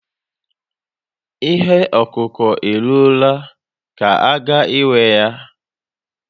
Ihe okuku eruola ka a ga-ewe ya